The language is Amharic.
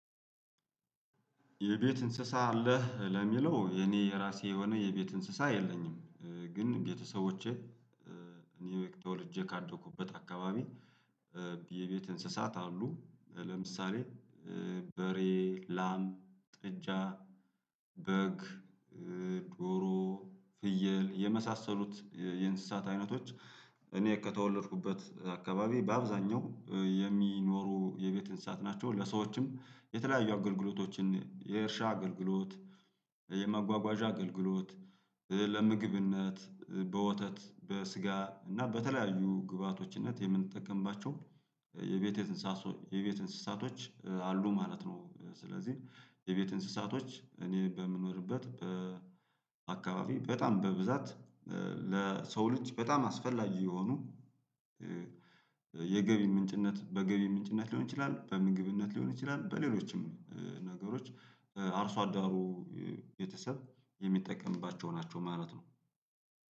የቤት እንስሳ አለህ ለሚለው የኔ የራሴ የሆነ የቤት እንስሳ የለኝም። ግን ቤተሰቦቼ እኔ ተወልጄ ካደኩበት አካባቢ የቤት እንስሳት አሉ። ለምሳሌ በሬ ላም ጥጃ በግ ዶሮ ፍየል የመሳሰሉት የእንስሳት አይነቶች። እኔ ከተወለድኩበት አካባቢ በአብዛኛው የሚኖሩ የቤት እንሳት ናቸው ለሰዎችም የተለያዩ አገልግሎቶችን የእርሻ አገልግሎት የመጓጓዣ አገልግሎት ለምግብነት በወተት በስጋ እና በተለያዩ ግብአቶችነት የምንጠቀምባቸው የቤት የቤት እንስሳቶች አሉ ማለት ነው። ስለዚህ የቤት እንስሳቶች እኔ በምኖርበት አካባቢ በጣም በብዛት ለሰው ልጅ በጣም አስፈላጊ የሆኑ የገቢ ምንጭነት በገቢ ምንጭነት ሊሆን ይችላል። በምግብነት ሊሆን ይችላል። በሌሎችም ነገሮች አርሶአዳሩ ቤተሰብ የሚጠቀምባቸው ናቸው ማለት ነው።